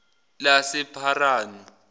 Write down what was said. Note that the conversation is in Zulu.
lasepharanu